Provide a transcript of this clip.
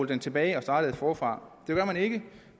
den tilbage og startet forfra det gør man ikke